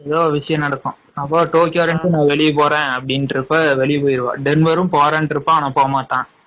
ஏதோ ஒரு விசையம் நடக்கும் அப்போ டோக்கியோ வெளிய போறேன்னு வெளிய போயிருவான்.டென்வரும் வெளிய போயிருவான்